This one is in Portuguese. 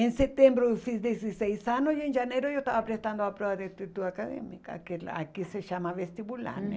Em setembro eu fiz dezesseis anos e em janeiro eu estava prestando a prova de atitude acadêmica, ah que aqui se chama vestibular, né?